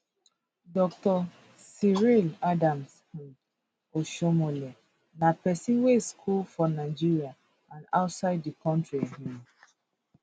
dr cyril adams um oshiomhole na pesin wey school for nigeria and outside di kontri um